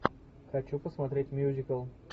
хочу посмотреть мюзикл